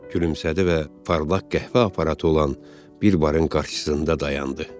Gülümsədi və parlaq qəhvə aparatı olan bir barın qarşısında dayandı.